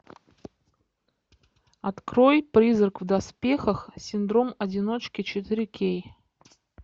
открой призрак в доспехах синдром одиночки четыре кей